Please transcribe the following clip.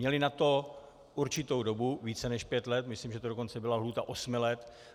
Měli na to určitou dobu, více než pět let, myslím, že to dokonce byla lhůta osmi let.